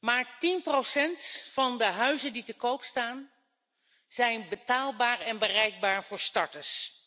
Slechts 10 van de huizen die te koop staan, is betaalbaar en bereikbaar voor starters.